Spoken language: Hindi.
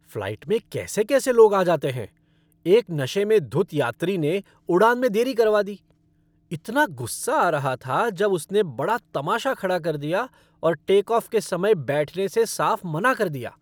फ़्लाइट में कैसे कैसे लोग आ जाते हैं! एक नशे में धुत यात्री ने उड़ान में देरी करवा दी। इतना गुस्सा आ रहा था जब उसने बड़ा तमाशा खड़ा कर दिया और टेकऑफ़ के समय बैठने से साफ़ मना कर दिया।